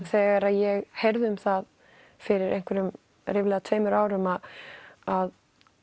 þegar ég heyrði um það fyrir einhverjum ríflega tveimur árum að